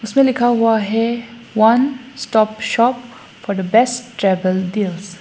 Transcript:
इसमें लिखा हुआ है one stop shop for the best travel deals.